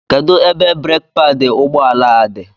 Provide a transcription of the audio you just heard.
Kedu ebe breeki paadi ụgbọ ala dị?